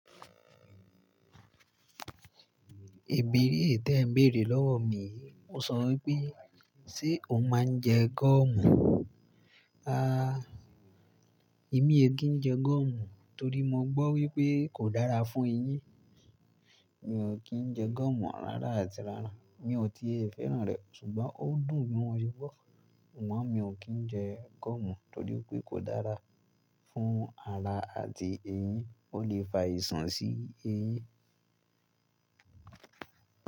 Ìbéérè té n bèrè lọ́wọ́ mi yi. O sọ wípé, ṣé o máa ń jẹ gọ̀mù? Aà! Èmi ẹ kì ń jẹ gọ̀mù torí mo gbọ́ wípé kò dára fún eyín. Mi ò kí ń jẹ gọ̀mù rárá àti rárá. Mi ò ti è fẹ́ràn rẹ̀ ṣùgbọ́n ó dùn wọ́n ṣúgbọ́n. Wọ́n mi ò kí ń jẹ gúọ̀mù torí pé kò dára fún ara àti eyín. Ó lè fa àìṣàn sí eyín.